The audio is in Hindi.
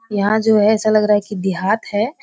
यहाँ जो है ऐसा लग रहा है की देहात हैं।